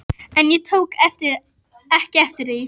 En ég tók ekki eftir því.